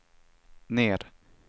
ner